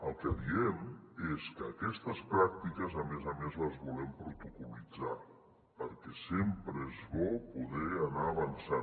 el que diem és que aquestes pràctiques a més a més les volem protocol·litzar perquè sempre és bo poder anar avançant